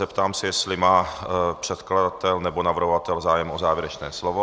Zeptám se, jestli má předkladatel nebo navrhovatel zájem o závěrečné slovo.